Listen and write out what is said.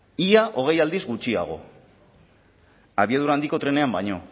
ia hogei aldiz gutxiago abiadura handiko trenean baino